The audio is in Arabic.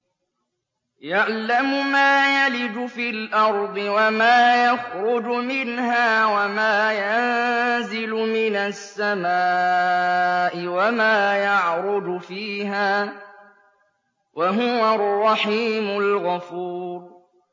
يَعْلَمُ مَا يَلِجُ فِي الْأَرْضِ وَمَا يَخْرُجُ مِنْهَا وَمَا يَنزِلُ مِنَ السَّمَاءِ وَمَا يَعْرُجُ فِيهَا ۚ وَهُوَ الرَّحِيمُ الْغَفُورُ